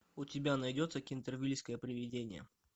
у тебя найдется кентервильское привидение